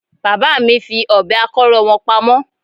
Bàbá mi fi Ọ̀bẹ akọ́rọ́ wọn pamọ́